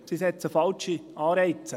Sie setzen falsche Anreize.